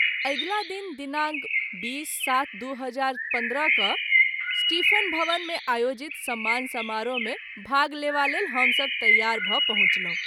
अगिला दिन दिनांक २०-०७-२०१५ क’ स्टीफ़ेन भवन मे आयोजित सम्मान समारोह मे भाग लेवा लेल हम सभ तैयार भ’ पहुँचलहुँ।